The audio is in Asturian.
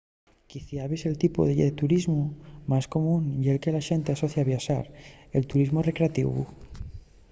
quiciabes el tipu de turismu más común ye'l que la xente asocia a viaxar el turismu recreativu